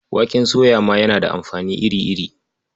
Waken soya ma yana da amfani iri-iri.